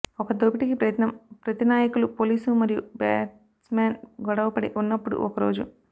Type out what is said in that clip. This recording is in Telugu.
ఒక దోపిడీకి ప్రయత్నం ప్రతినాయకులు పోలీసు మరియు బాట్మాన్ గొడవపడి ఉన్నప్పుడు ఒకరోజు